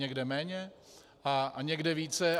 Někde méně a někde více.